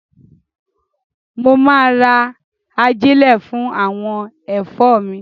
Mo máa ra ajílẹ̀ fún àwọn ẹ̀fọ́ mi.